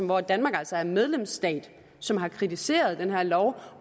hvor danmark altså er medlemsstat som har kritiseret den her lov og